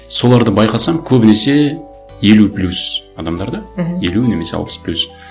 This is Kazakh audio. соларды байқасаң көбінесе елу плюс адамдар да мхм елу немесе алпыс плюс